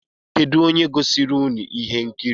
Kedụ onye gosiri ụnụ ihe nkiri?